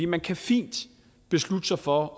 man kan fint beslutte sig for